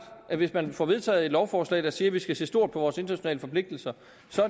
at hvis man får vedtaget et lovforslag der siger at vi skal se stort på vores internationale forpligtelser